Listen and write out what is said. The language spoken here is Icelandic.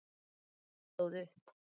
Örn stóð upp.